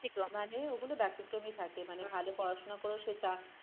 মানে ওগুলো ব্যতিক্রমী থাকে মানে ভালো পড়াশোনা করেও সে